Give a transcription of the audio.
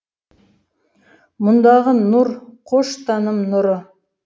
мұндағы нұр қош таным нұры